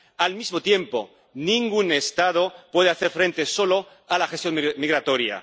Al mismo tiempo, ningún Estado puede hacer frente solo a la gestión migratoria.